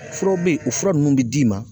Furaw bɛ yen, o fura nunnu be d'i ma